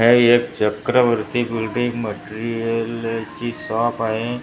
हे एक चक्रवर्ती बिल्डींग मटेरियलची शॉप आहे या--